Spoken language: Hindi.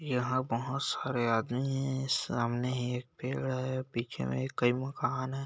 यहाँ बहोत सारे आदमी हैं सामने एक पेड़ है पीछे में कई मकान है।